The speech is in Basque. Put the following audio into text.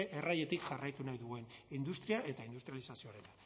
errailetik jarraitu nahi duen industria eta industrializazioa